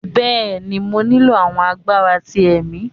bẹẹni, mo nilo awọn agbara ti ẹmì